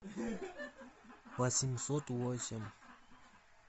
восемьсот восемь